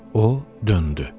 O döndü.